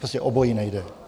Prostě obojí nejde.